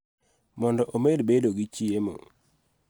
Mondo omed bedo gi chiemo.